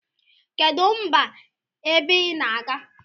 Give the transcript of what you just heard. Kedu mba ebe inaga?